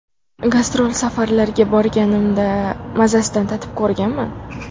Gastrol safarlarga borganimda mazasidan tatib ko‘rganman.